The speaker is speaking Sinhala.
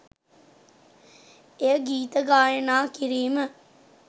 එය ගීත ගායනා කිරීම